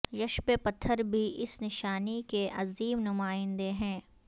یشب پتھر بھی اس نشانی کے عظیم نمائندے ہیں